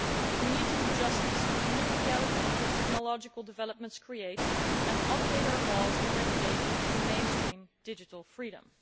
We need to do justice to the new reality that technological developments create and update our laws and regulations to mainstream digital freedom.